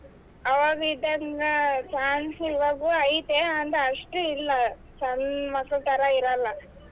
ಆವಾಗಿದಂಗ chance ಈವಾಗು ಐತೆ ಆದ್ರೆ ಅಷ್ಟ್ ಇಲ್ಲಾ ಸಣ್ ಮಕ್ಳ ತರ ಇರಲ್ಲ.